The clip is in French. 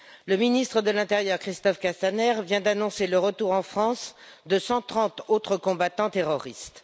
Le ministre de l'intérieur, Christophe Castaner, vient d'annoncer le retour en France de 130 autres combattants terroristes.